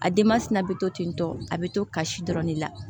A denman sina bɛ to ten tɔ a bɛ to kasi dɔrɔn de la